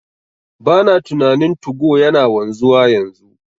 Bana tunanin 2go yana wanzuwa yanzu,